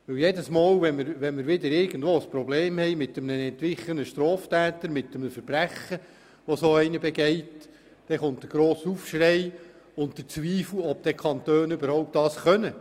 Jedes Mal, wenn wir ein Problem haben mit einem Verbrechen eines entwichenen Straftäters folgt der grosse Aufschrei und es wird der Zweifel laut, ob denn die Kantone überhaupt in der Lage seien, eine Lösung zu finden.